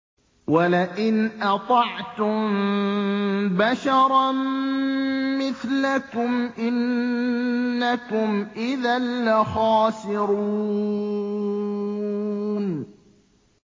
وَلَئِنْ أَطَعْتُم بَشَرًا مِّثْلَكُمْ إِنَّكُمْ إِذًا لَّخَاسِرُونَ